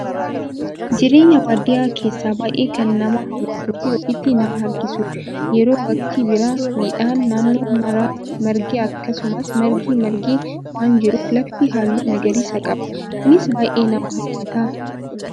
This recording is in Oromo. Jireenya baadiyyaa keessaa baay'ee kana nama hawwatuu fi ofitti nama harkisu yeroo waqtii birraa midhaan naannoo maraa margee akkasumas margi margee waan jiruuf lafti halluu magariisa qaba. Kunis baay'ee nama hawwata.